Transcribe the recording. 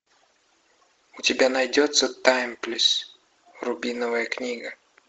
у тебя найдется таймлесс рубиновая книга